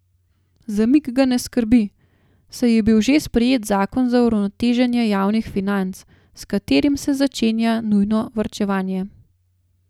Zamik ga ne skrbi, saj je bil že sprejet zakon za uravnoteženje javnih financ, s katerim se začenja nujno varčevanje.